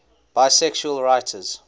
bisexual writers